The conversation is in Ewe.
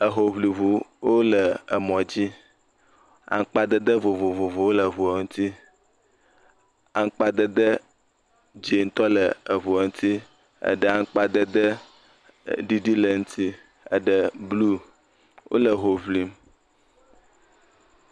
Ehoŋliwo le emɔdzi. Aŋkpadede vovovovowo le ŋuɔ ŋuti. Aŋkpadede dzẽtɔ le eŋuɔ ŋuti, eɖe aŋkpadede ɖiɖi le eŋti. Eɖe, bluu, wole ho ŋlim.